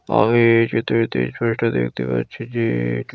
আমি এই চিত্রটিতে এই ছবিটা দেখতে পাচ্ছি যে-এ--